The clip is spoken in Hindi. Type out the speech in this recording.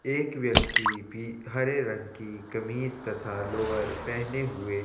एक व्यक्ति भी हरे रंग की कमीज तथा लोअर पहने हुए--